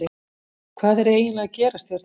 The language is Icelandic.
Hvað er eiginlega að gerast hérna?